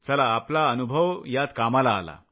चला आपला अनुभव यात कामाला आला